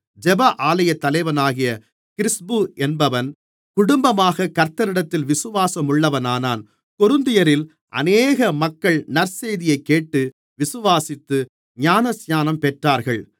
ஜெப ஆலயத்தலைவனாகிய கிறிஸ்பு என்பவன் குடும்பமாக கர்த்தரிடத்தில் விசுவாசமுள்ளவனானான் கொரிந்தியரில் அநேக மக்கள் நற்செய்தியைக் கேட்டு விசுவாசித்து ஞானஸ்நானம் பெற்றார்கள்